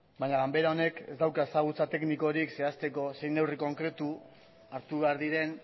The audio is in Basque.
baina ganbara honek ez dauka ezagutza teknikorik zehazteko zein neurri konkretu hartu behar diren